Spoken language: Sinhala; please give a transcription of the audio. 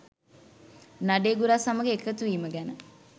නඩේගුරා සමග එකතුවීම ගැන.